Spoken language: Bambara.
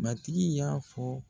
Matigi y'a fɔ